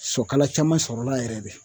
Sɔ kala caman sɔrɔla yɛrɛ de